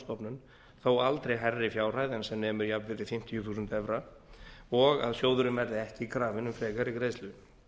innlánsstofnun þó aldrei hærri fjárhæð en sem nemur jafnvirði fimmtíu þúsund evra og að sjóðurinn verði ekki krafinn um frekari greiðslu